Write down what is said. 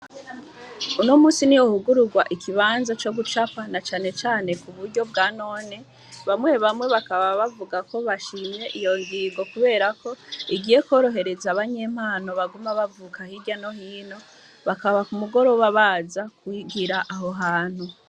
Uno musi niho hugururwa ikibanza co gucapa na canecane ku buryo bwa none bamwe bamwe bakaba bavuga ko bashimye iyo ngingo kuberako igiye kworohereza abanyempano baguma bavuka hirya no hino bakaba ku mugoroba baza kwigira aho hantu.